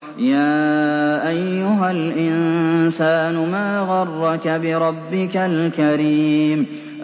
يَا أَيُّهَا الْإِنسَانُ مَا غَرَّكَ بِرَبِّكَ الْكَرِيمِ